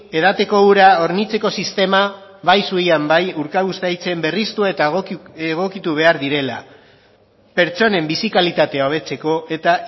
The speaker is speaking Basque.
edateko ura hornitzeko sistema bai zuian bai urkabustaitzen berristu eta egokitu behar direla pertsonen bizi kalitatea hobetzeko eta